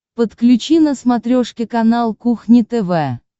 подключи на смотрешке канал кухня тв